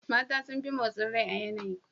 Mata sun fi motsi rai a yanayi.